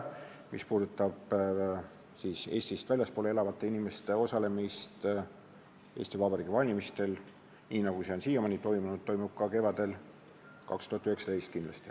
Mis puudutab Eestist väljaspool elavate inimeste osalemist Eesti Vabariigi parlamendi valimistel, siis nii, nagu see on siiamaani toimunud, toimub see ka kevadel 2019 kindlasti.